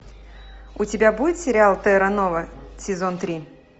у тебя будет сериал терра нова сезон три